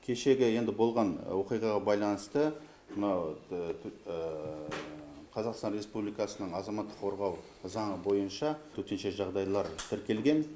кешегі енді болған оқиғаға байланысты мынау қазақстан республикасының азаматтық қорғау заңы бойынша төтенше жағдайлар тіркелген